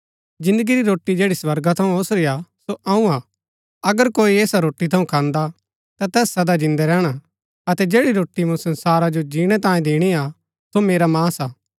जिन्दगी री रोटी जैड़ी स्वर्गा थऊँ ओसुरी हा सो अऊँ हा अगर कोई ऐसा रोटी थऊँ खान्दा ता तैस सदा जिन्दै रैहणा अतै जैड़ी रोटी मूँ संसारा जो जिणै तांयें दिणी हा सो मेरा मांस हा